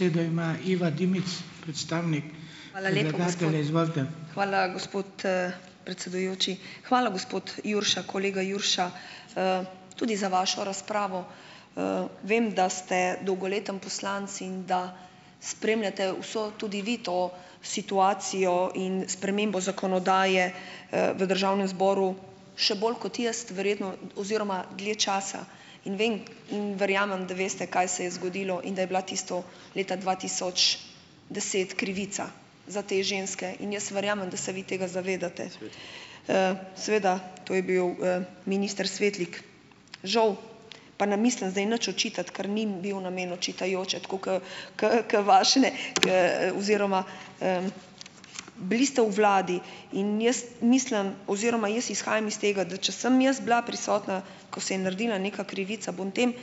Hvala, gospod, predsedujoči. Hvala, gospod Jurša, kolega Jurša, tudi za vašo razpravo. Vem, da ste dolgoletni poslanec in da spremljate vso tudi vi to situacijo in spremembo zakonodaje, v državnem zboru še bolj kot jaz verjetno oziroma dlje časa, in vem in verjamem, da veste, kaj se je zgodilo, in da je bila tisto leta dva tisoč deset krivica za te ženske in jaz verjamem, da se vi tega zavedate. Seveda, to je bil, minister Svetlik. Žal, pa na mislim zdaj nič očitati, ker ni bil namen očitajoče, tako ke ke, ke vašne, oziroma, bili ste v vladi in jaz mislim oziroma jaz izhajam iz tega, da če sem jaz bila prisotna, ko se je naredila neka krivica, bom tem,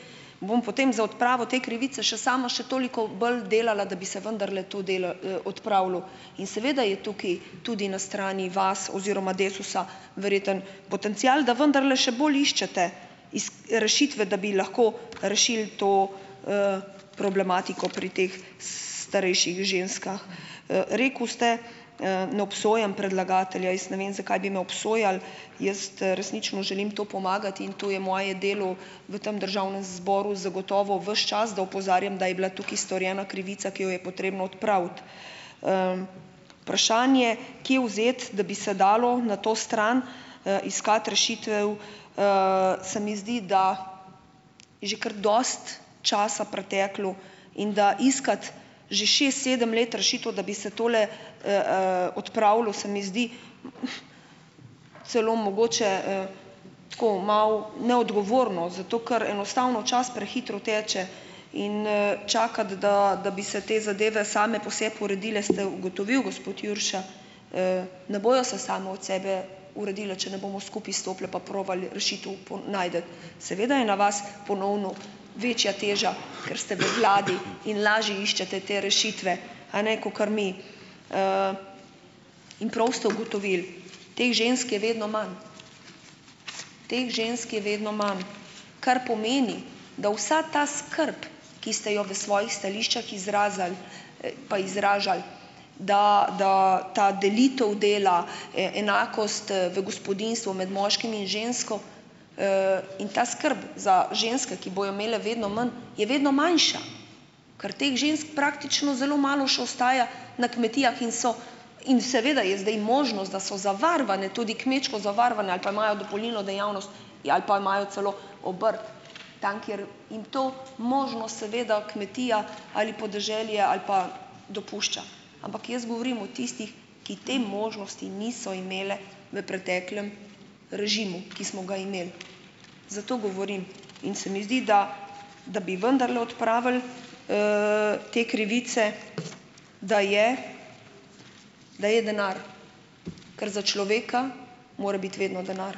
bom potem za odpravo te krivice še sama še toliko bolj delala, da bi se, vendarle to delo, odpravilo. In seveda je tukaj tudi na strani vas oziroma Desusa verjetno potencial, da vendarle še bolj iščete rešitve, da bi lahko rešili to, problematiko pri teh, starejših ženskah. Rekel ste, ne obsojam predlagatelja. Jaz ne vem, zakaj bi me obsojali. Jaz, resnično želim to pomagati in to je moje delo v tam državnem zboru zagotovo ves čas, da opozarjam, da je bila tukaj storjena krivica, ki jo je potrebno odpraviti. vprašanje, kje vzeti, da bi se dalo na to stran, iskati rešitev, se mi zdi, da že kar dosti časa preteklo, in da iskati že šest, sedem let rešitev, da bi se tole, odpravilo, se mi zdi celo mogoče, tako, malo neodgovorno, zato ker enostavno čas prehitro teče. In, ... Čakati, da, da bi se te zadeve same po sebi uredile, ste ugotovil, gospod Jurša, ne bojo se same od sebe uredile, če ne bomo skupaj stopili pa probali rešitev po najti. Seveda je na vas ponovno večja teža, ker ste v vladi in lažje iščete te rešitve, a ne, kakor mi. in prav ste ugotovili, teh žensk je vedno manj, teh žensk je vedno manj, kar pomeni, da vsa ta skrb, ki ste jo v svojih stališčih izrazili, pa izražali, da, da, ta delitev dela e, enakost, v gospodinjstvu med moškim in žensko. In ta skrb za ženske, ki bojo imele vedno manj, je vedno manjša, ker teh žensk praktično zelo malo še ostaja na kmetijah in so ... In seveda je zdaj možnost, da so zavarovane, tudi kmečko zavarovane, ali pa imajo dopolnilno dejavnost ali pa imajo celo obrt, tam, kjer, in to možnost seveda kmetija ali podeželje ali pa dopušča, ampak jaz govorim o tistih, ki te možnosti niso imeli v preteklem režimu, ki smo ga imeli, zato govorim. In se mi zdi, da da bi vendarle odpravili, te krivice, da je da je denar, ker za človeka mora biti vedno denar.